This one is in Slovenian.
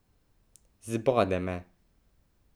Zbode me.